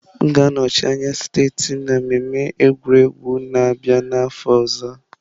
M ga-anọchi anya steeti m na mmemme egwuregwu na-abịa n'afọ ọzọ.